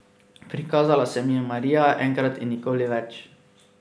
Prikazala se mi je Marija, enkrat in nikoli več.